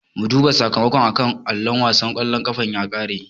Mu duba sakamakon a kan allo, wasan ƙwallon ƙafar ya ƙare.